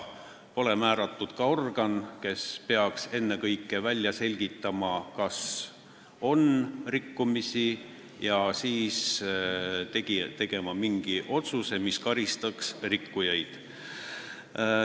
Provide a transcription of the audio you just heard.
Pole määratud ka organit, kes peaks ennekõike välja selgitama, kas on rikkumisi, ja siis tegema mingi otsuse, mis karistaks rikkujaid.